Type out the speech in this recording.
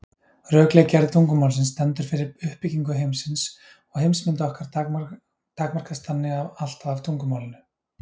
Rökleg gerð tungumálsins stendur fyrir uppbyggingu heimsins og heimsmynd okkar takmarkast þannig alltaf af tungumálinu.